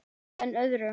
Að enn öðru.